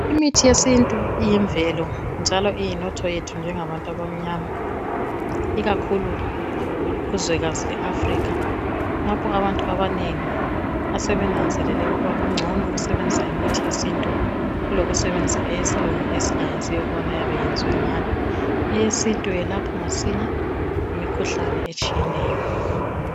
Imithi yesintu iyimvelo njalo iyinotho yethu thina njengabantu abamnyama ikakhulu kuzwekazi le Africa lapho abantu abanengi asebenanzelele ukuba kungcono ukusebenzisa imithi yesintu kulokusebenzisa eyesilungu esingayaziyo ukuba iyabe yenziwe ngani Eyesintu yelapha masinya imikhuhlane etshiyeneyo